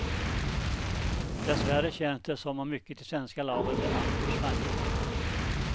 Dessvärre känns det som om mycket i svenska laget är alltför svajigt.